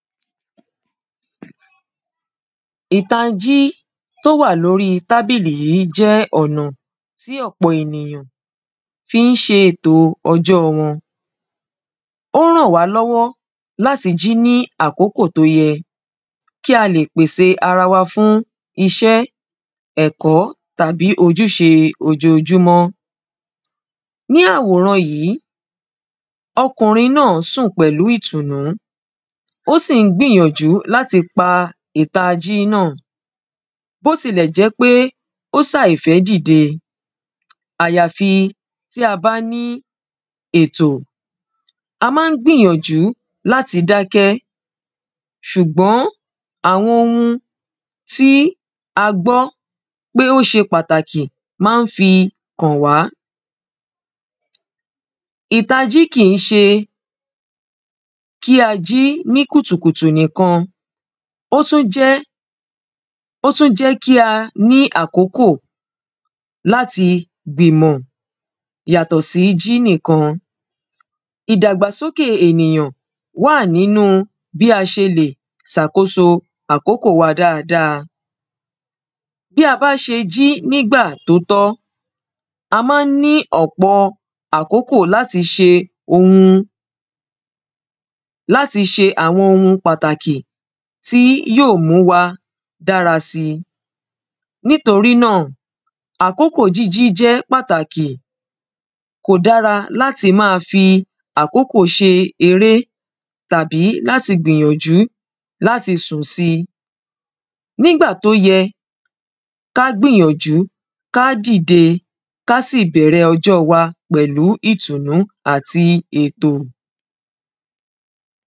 ìtanjí tó wà lórí tábìlì yí jẹ́ ọ̀nà tí ọ̀pọ̀ ènìyàn fí ń ṣe etò ọjọ́ wọn ó ràn wá lọ́wọ́ láti jí ní àkókò tó yẹ kí a lè pèse ara wa fún iṣẹ́ ẹ̀kọ́ tàbí ojúṣe ojojúmọ́ ní àwòran yìí ọkùnrin náà sún pẹ̀lú ìtùnú ó sì ń gbíyànjú láti pa ìtají náà bó ti lẹ̀ jẹ́ pé ó sàìf̣ẹ́ dìde àyàfi tí a bá ní ètò a má ń gbíyànjú láti dákẹ́ ṣùgbọ́n àwọn ohun tí a gbọ́ pé ó ṣe pàtàkì má ń fi kàn wá ìtají kìí ṣe kí a jí kùtùkùtù nìkan ó tún jẹ́ ó tún jẹ́ kí a ní àkókò láti gbìmọ̀ yàtọ̀ sí jí nìkan ìdàgbàsókè ènìyàn wà nínu bí a ṣe lè sàkóso àkókò wa dáradára bí a bá ṣe jí nígbà tó tọ́ a má ń ní ọ̀pọ̀ àkókò láti ṣe ohun láti ṣe àwọn ohun pàtàkì tí yóò mú wa dára si nítorí náà àkókò jíjí jẹ́ pàtàkì kò dára láti máa fi àkókò ṣe eré tàbí láti gbìyànjú láti sùn si nígbà tó yẹ ká gbìyànjú ká dìde ká sì bẹ̀rẹ̀ ọjọ́ wa pẹ̀lú ìtùnú àti ètò